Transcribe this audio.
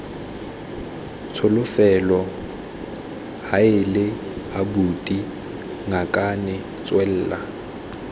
tsholofelo heela abuti ngakane tswela